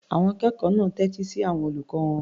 Àwọn akẹ́kọ̀ọ́ náà tẹ́tí sí àwọn olùkọ́ wọn.